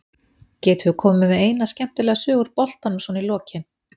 Getur þú komið með eina skemmtilega sögu úr boltanum svona í lokin?